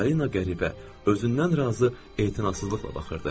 Polina qəribə, özündən razı e'tinasızlıqla baxırdı.